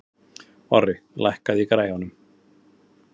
Orri, lækkaðu í græjunum.